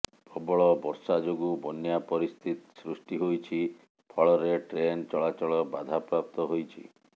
ପ୍ରବଳ ବର୍ଷା ଯୋଗୁଁ ବନ୍ୟା ପରିସ୍ଥିତି ସୃଷ୍ଟି ହୋଇଛି ଫଳରେ ଟ୍ରେନ ଚଳାଚଳ ବାଧାପ୍ରାପ୍ତ ହୋଇଛି